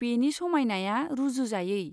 बेनि समायनाया रुजुजायै।